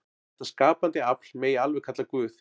Þetta skapandi afl megi alveg kalla Guð.